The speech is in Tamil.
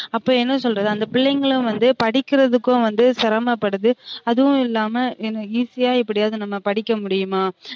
அப்ப என்ன சொல்றது அந்த பிள்ளைங்களும் வந்து படிக்குறதுக்கும் வந்து சிரமப்படுது அதுவும் இல்லாமா easy யா எப்டியாவது நம்ம படிக்க முடியுமா